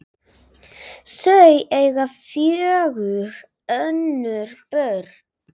Þau eiga fjögur önnur börn.